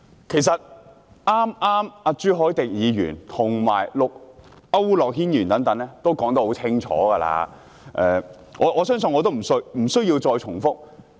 其實，朱凱廸議員、區諾軒議員等剛才也說得很清楚，我相信我無須再重複。